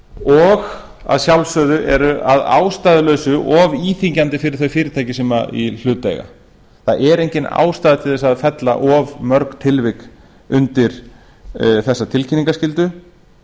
og að sjálfsögðu er að ástæðulausu og íþyngjandi fyrir þau fyrirtæki sem í hlut eiga það er engin ástæða til að fella of mörg tilvik undir þessa tilkynningarskyldu